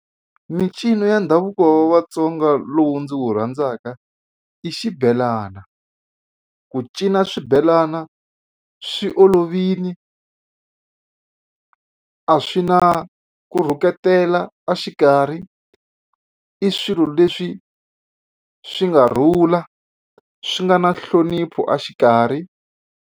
Mincino ya ndhavuko wa Vatsonga lowu ndzi wu rhandzaka i xibelana. Ku cina swibelana swi olovile a swi na ku rhuketela a xikarhi i swilo leswi swi nga rhula swi nga na nhlonipho a xikarhi.